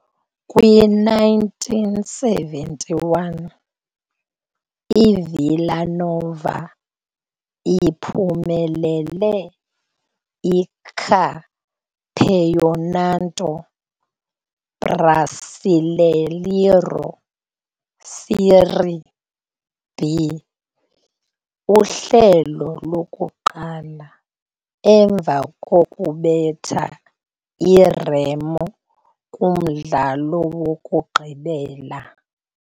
Kwi-1971, i-Villa Nova iphumelele i-Campeonato Brasileiro Série B uhlelo lokuqala, emva kokubetha i-Remo kumdlalo wokugqibela.